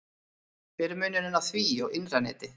Hver er munurinn á því og innra neti?